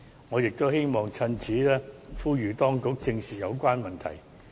我亦希望藉此機會呼籲當局正視有關問題。